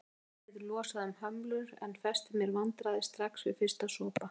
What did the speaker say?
Vínið losaði um hömlur en festi mér vandræði strax við fyrsta sopa.